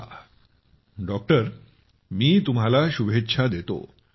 चला मी तुम्हाला शुभेच्छा देतो